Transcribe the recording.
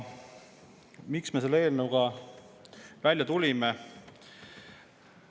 Miks me selle eelnõuga välja tulime?